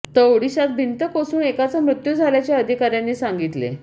तर ओडिशात भिंत कोसळून एकाचा मृत्यू झाल्याचे अधिकाऱ्यांनी सांगितले